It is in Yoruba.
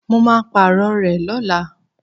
Mo máa Pààrọ̀ rẹ̀ lọ́la